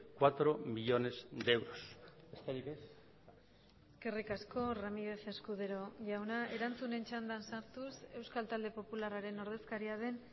cuatro millónes de euros besterik ez eskerrik asko ramírez escudero jauna erantzunen txandan sartuz euskal talde popularraren ordezkaria den